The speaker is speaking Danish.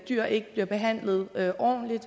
dyr ikke bliver behandlet ordentligt